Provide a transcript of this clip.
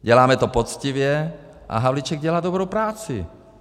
Děláme to poctivě a Havlíček dělá dobrou práci.